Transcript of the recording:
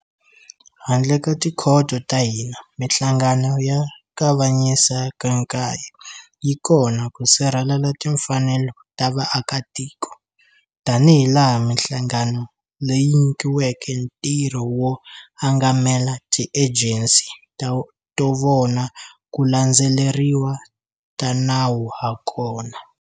Handle ka tikhoto ta hina, Mihlangano ya Kavanyisa ka 9 yi kona ku sirhelela timfanelo ta vaakitiko, tanihilaha mihlangano leyi nyikiweke ntirho wo angamela tiejensi to vona ku landzeleriwa ka nawu hakona.